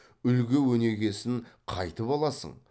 үлгі өнегесін қайтіп аласың